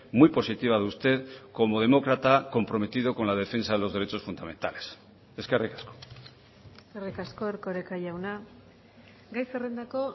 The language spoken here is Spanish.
muy positiva de usted como demócrata comprometido con la defensa de los derechos fundamentales eskerrik asko eskerrik asko erkoreka jauna gai zerrendako